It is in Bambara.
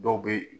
Dɔw bɛ